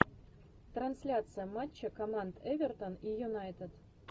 трансляция матча команд эвертон и юнайтед